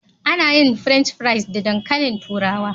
Ana yin French fries da dankalin turawa.